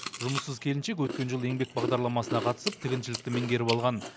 жұмыссыз келіншек өткен жылы еңбек бағдарламасына қатысып тігіншілікті меңгеріп алған